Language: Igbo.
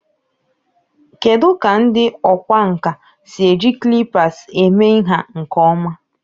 Kedu ka ndị ọkwá nkà si eji calipers eme nha nke ọma?